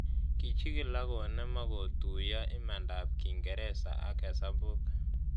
Kichig'il ako nem ako tuyo imanda ap kingereza ak hesabuk